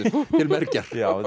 til mergjar